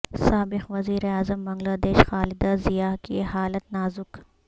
سابق وزیراعظم بنگلہ دیش خالدہ ضیاء کی حالت نازک